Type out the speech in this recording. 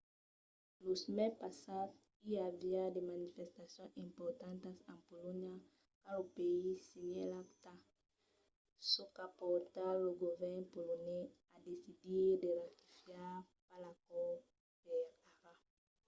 lo mes passat i aviá de manifestacions importantas en polonha quand lo país signèt l'acta çò qu'a portat lo govèrn polonés a decidir de ratificar pas l'acòrd per ara